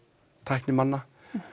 tæknimanna